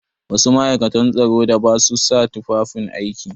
Wasu ma'aikatan tsaro da ba su sa tufan aiki?